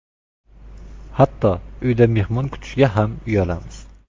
Hatto uyda mehmon kutishga ham uyalamiz.